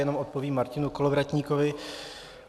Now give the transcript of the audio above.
Jenom odpovím Martinu Kolovratníkovi.